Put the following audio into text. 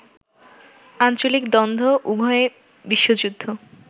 আঞ্চলিক দ্বন্দ্ব, উভয় বিশ্বযুদ্ধ